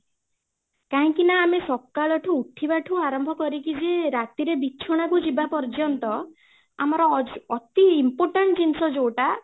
କାହିଁକି ନା ଆମେ ସକାଳ ଠୁ ଉଠିବାଠୁ ଆରମ୍ଭ କରିକି ରାତି ରେ ବିଞ୍ଛନା କୁ ଯିବା ପର୍ଯ୍ୟନ୍ତ ଆମର ଅତି important ଜିନିଷ ଯୋଉଟା